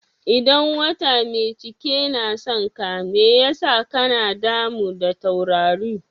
Idan wata mai cike na son ka, mai ya sa ka na damu da taurari?